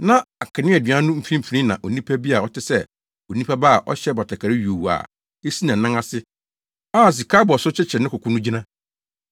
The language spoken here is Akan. Na akaneadua no mfimfini na onipa bi a ɔte sɛ Onipa Ba a ɔhyɛ batakari yuu a esi nʼanan ase a sika abɔso kyekyere ne koko no gyina.